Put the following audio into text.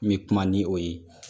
N bɛ kuma ni o ye